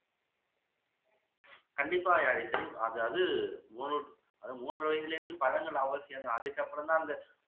கண்டிப்பா யாழிசை அதாவது மூனு மூன்று வயதுலேந்து பழங்கள் அவசியம் தான் அதுக்கப்பறம் தான் அந்த